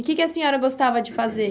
E que que a senhora gostava de fazer?